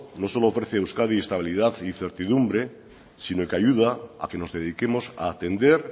no solo ofrece a euskadi estabilidad y certidumbre sino que ayuda a que nos dediquemos a atender